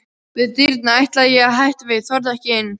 Við dyrnar ætlaði ég að hætta við, þorði ekki inn.